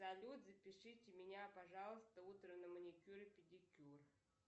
салют запишите меня пожалуйста утром на маникюр и педикюр